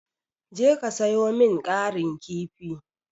Je ka sayo min ƙarin kifi.